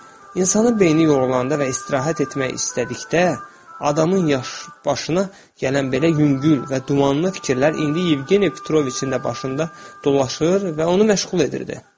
İnsanın beyni yorulanda və istirahət etmək istədikdə, adamın başına gələn belə yüngül və dumanlı fikirlər indi Yevgeni Petroviçin də başında dolaşır və onu məşğul edirdi.